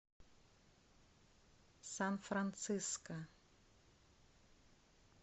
сан франциско